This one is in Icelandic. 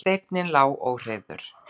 Og steinninn lá óhreyfður.